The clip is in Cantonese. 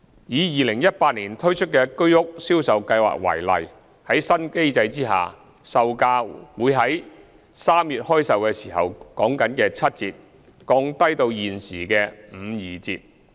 以2018年推出的居屋銷售計劃為例，在新的定價機制下，售價會從3月開售時的七折降低到現時的五二折。